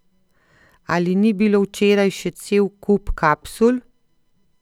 Ali ni bilo včeraj še cel kup kapsul?